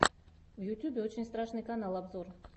в ютьюбе очень страшный канал обзор